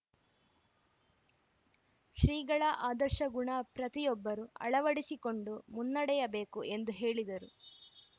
ಶ್ರೀಗಳ ಆದರ್ಶಗುಣ ಪ್ರತಿಯೊಬ್ಬರು ಅವಳಡಿಸಿಕೊಂಡು ಮುನ್ನಡೆಯಬೇಕು ಎಂದು ಹೇಳಿದರು